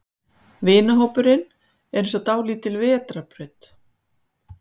Vinahópurinn er eins og dálítil vetrarbraut.